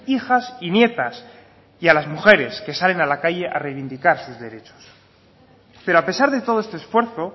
hijas y nietas y a las mujeres que salen a la calle a reivindicar sus derechos pero a pesar de todo este esfuerzo